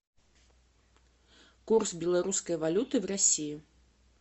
курс белорусской валюты в россии